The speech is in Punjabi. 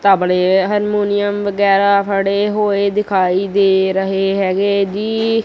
ਤਬਲੇ ਹਨਮੋਨੀਅਮ ਵਗੈਰਾ ਫੜੇ ਹੋਏ ਦਿਖਾਈ ਦੇ ਰਹੇ ਹੈਗੇ ਜੀ।